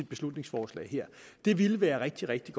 beslutningsforslaget her ville være rigtig rigtig